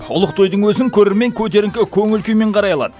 ұлық тойдың өзін көрермен көтеріңкі көңіл күймен қарай алады